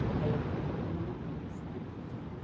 Que até aí ele estava trabalhando na Pires, né?